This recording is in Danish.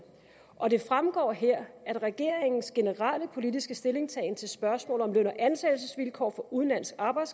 og det fremgår heraf at regeringens generelle politiske stillingtagen til spørgsmål om løn og ansættelsesvilkår for udenlandsk